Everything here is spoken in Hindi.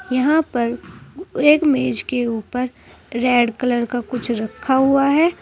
यहां पर एक मेज के ऊपर रेड कलर का कुछ रखा हुआ है।